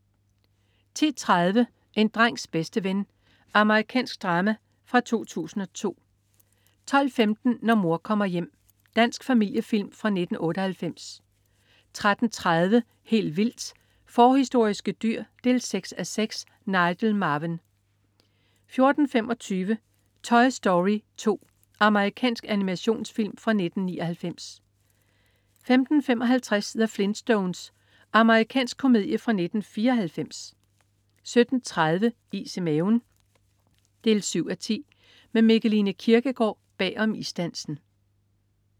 10.30 En drengs bedste ven. Amerikansk drama fra 2002 12.15 Når mor kommer hjem. Dansk familiefilm fra 1998 13.30 Helt vildt. Forhistoriske dyr 6:6. Nigel Marven 14.25 Toy Story 2. Amerikansk animationsfilm fra 1999 15.55 The Flintstones. Amerikansk komedie fra 1994 17.30 Is i maven 7:10. Med Mikkeline Kierkgaard bag om isdansen